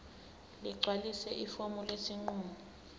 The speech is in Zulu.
ligcwalise ifomu lesinqumo